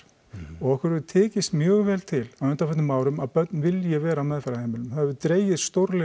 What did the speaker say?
og okkur hefur tekist mjög vel til á undanförnum árum að börn vilji vera á meðferðarheimilum það hefur dregið stórlega